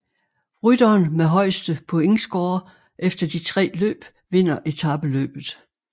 Rytteren med højeste pointscore efter de tre løb vinder etapeløbet